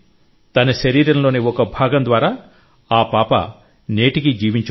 తన శరీరంలోని ఒక భాగం ద్వారా ఆ పాప నేటికీ జీవించి ఉంది